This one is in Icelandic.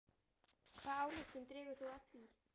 Hvaða ályktun dregur þú af því?